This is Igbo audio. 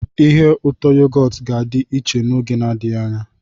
Ihe ụtọ yogọt ga-adị iche n'oge adịghị anya.